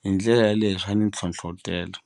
hi ndlela yaleyo swa ni ntlhontlhotela.